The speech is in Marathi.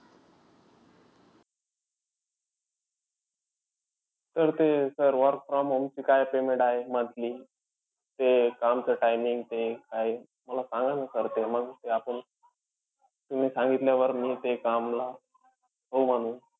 Sir ते sir work from home ची काय payment आहे monthly? ते कामचं timing ते काय मला सांगा न sir ते. मग आपुन, तुम्ही सांगितल्यावर मी ते कामला हो म्हणू.